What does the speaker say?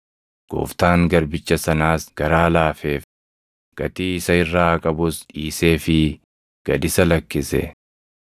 Gooftaan garbicha sanaas garaa laafeef; gatii isa irraa qabus dhiiseefii gad isa lakkise.